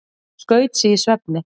Skaut sig í svefni